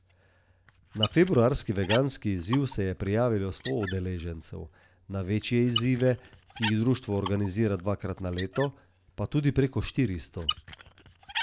Na februarski veganski izziv se je prijavilo sto udeležencev, na večje izzive, ki jih društvo organizira dvakrat na leto, pa tudi preko štiristo.